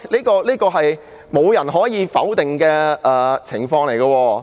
這是無人可以否定的情況。